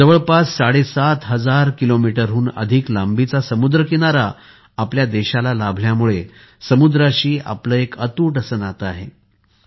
जवळपास साडे सात हजार किलोमीटरहुन अधिक लांबीचा समुद्रकिनारा भारताला लाभल्यामुळे समुद्राशी आपले एक अतूट नाते आहे